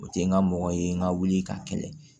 O tɛ n ka mɔgɔ ye n ka wuli ka kɛlɛ